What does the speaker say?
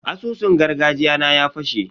Asusun gargajiya na ya fashe.